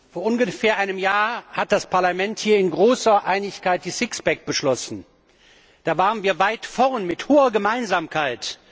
Vor ungefähr einem Jahr hat das Parlament hier in großer Einigkeit die Sixpacks beschlossen. Da waren wir weit vorn mit hoher Gemeinsamkeit.